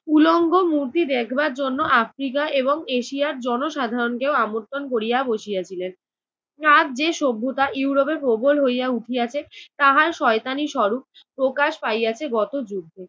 উলঙ্গ মূর্তি দেখবার জন্য আফ্রিকা এবং এশিয়ার জনসাধারনকেও আমন্ত্রণ করিয়া বসিয়াছিলেন। আজ যে সভ্যতা ইউরোপে প্রবল হইয়া উঠিয়াছে তাহার শয়তানী স্বরূপ প্রকাশ পাইয়াছে গত যুদ্ধে।